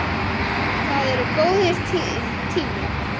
Það er góður tími.